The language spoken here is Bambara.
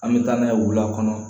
An bɛ taa n'a ye wula kɔnɔ